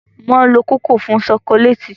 Wọ́n lo kòkó fún ṣokoléètì.